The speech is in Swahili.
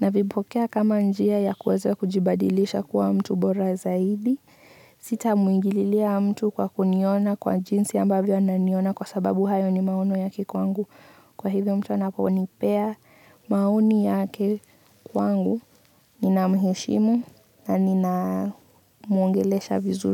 navipokea kama njia ya kuweza kujibadilisha kuwa mtu bora zaidi. Sitamwingililia mtu kwa kuniona kwa jinsi ambavyo ananiona kwa sababu hayo ni maono yake kwangu. Kwa hivyo mtu anaponipea maoni yake kwangu nina muheshimu na nina mwongelesha vizuli.